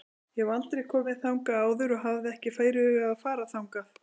Ég hef aldrei komið þangað áður og hafði ekki fyrirhugað að fara þangað.